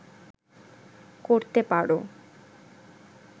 করতে পারো